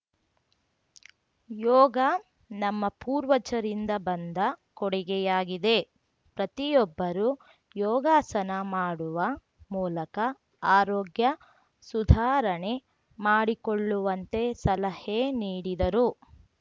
ಯೋಗ ನಮ್ಮ ಪೂರ್ವಜರಿಂದ ಬಂದ ಕೊಡುಗೆಯಾಗಿದೆ ಪ್ರತಿಯೊಬ್ಬರೂ ಯೋಗಾಸನ ಮಾಡುವ ಮೂಲಕ ಆರೋಗ್ಯ ಸುಧಾರಣೆ ಮಾಡಿಕೊಳ್ಳುವಂತೆ ಸಲಹೆ ನೀಡಿದರು